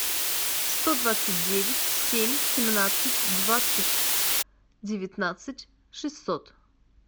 сто двадцать девять семь семнадцать двадцать девятнадцать шестьсот